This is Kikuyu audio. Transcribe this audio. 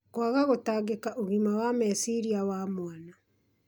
Kwaga gũtangĩkĩra ũgima wa meciria wa mwana